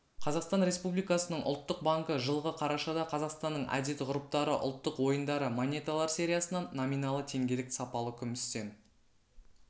қазақстан республикасының ұлттық банкі жылғы қарашада қазақстанның әдет-ғұрыптары ұлттық ойындары монеталар сериясынан номиналы теңгелік сапалы күмістен